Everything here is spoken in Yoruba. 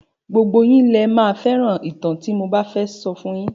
Gbogbo yín lẹ máa fẹ́ràn ìtàn tí mo fẹ́ sọ fun yín.